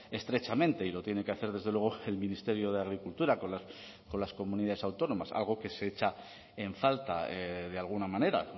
estrechamente y lo tiene que hacer desde luego el ministerio de agricultura con las comunidades autónomas algo que se echa en falta de alguna manera